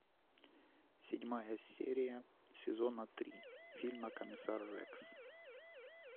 седьмая серия сезона три фильма комиссар рекс